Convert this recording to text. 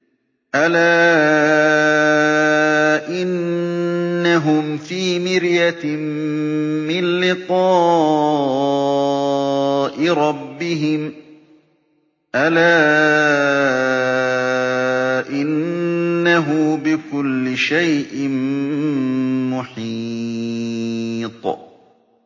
أَلَا إِنَّهُمْ فِي مِرْيَةٍ مِّن لِّقَاءِ رَبِّهِمْ ۗ أَلَا إِنَّهُ بِكُلِّ شَيْءٍ مُّحِيطٌ